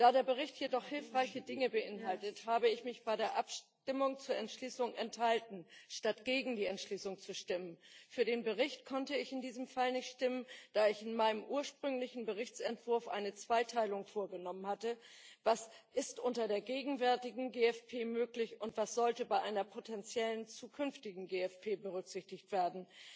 Da der Bericht jedoch hilfreiche Dinge beinhaltet, habe ich mich bei der Abstimmung über die Entschließung enthalten, statt gegen die Entschließung zu stimmen. Für den Bericht konnte ich in diesem Fall nicht stimmen, da ich in meinem ursprünglichen Berichtsentwurf eine Zweiteilung vorgenommen hatte Was ist unter der gegenwärtigen GFP möglich, und was sollte bei einer potenziellen zukünftigen GFP berücksichtigt werden?